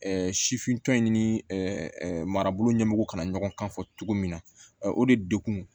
sifintɔ in ni marabolo ɲɛmɔgɔ kana ɲɔgɔn kan fɔ cogo min na o de degun